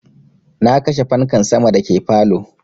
Na kashe fanka sama da ke falow